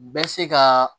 Bɛ se ka